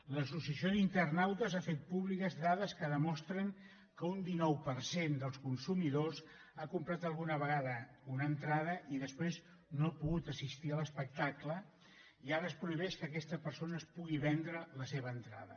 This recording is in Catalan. l’associació d’internautes ha fet públiques dades que demostren que un dinou per cent dels consumidors ha comprat alguna vegada una entrada i després no ha pogut assistir a l’espectacle i ara es prohibeix que aquesta persona es pugui vendre la seva entrada